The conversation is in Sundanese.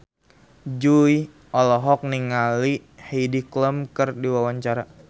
Jui olohok ningali Heidi Klum keur diwawancara